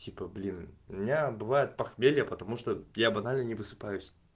типа блин у меня бывает похмелье потому что я банально не высыпаюсь